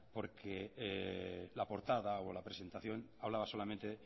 porque la portada o la presentación hablaba solamente